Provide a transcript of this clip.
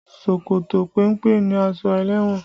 Ṣòkòtò péńpé ni aṣọ ẹlẹ́wọ̀n